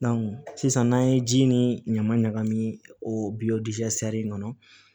sisan n'an ye ji ni ɲama ɲagami o in kɔnɔ